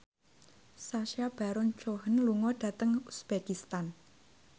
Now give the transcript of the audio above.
Sacha Baron Cohen lunga dhateng uzbekistan